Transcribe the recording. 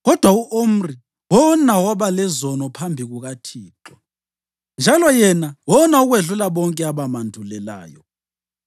Kodwa u-Omri wona waba lezono phambi kukaThixo, njalo yena wona okwedlula bonke abamandulelayo.